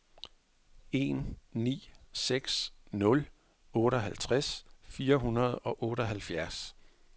en ni seks nul otteoghalvtreds fire hundrede og otteoghalvfjerds